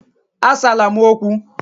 Asala m okwu!